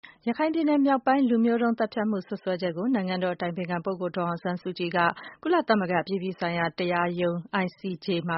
ရခိုင်ပြည်နယ်မြောက်ပိုင်း လူမျိုးတုံးသတ်ဖြတ်မှု စွပ်စွဲချက်ကို နိုင်ငံတော်အတိုင်ပင်ခံ ဒေါ်အောင်ဆန်းစုကြည်က ကုလသမဂ္ဂအပြည်ပြည်ဆိုင်ရာ တရားရားရုံး ICJ မ